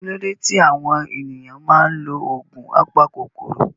Kí ló dé tí àwọn ènìyàn máa ń lo oògùn apakòkòrò?